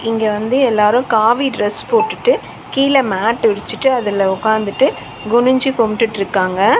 இங்க வந்து எல்லாரு காவி ட்ரஸ் போட்டுட்டு கீழ மேட் விரிச்சுட்டு அதுல ஒக்காந்துட்டு குனிஞ்சு கும்ட்டுட்ருக்காங்க.